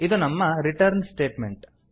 ಇದು ನಮ್ಮ return statement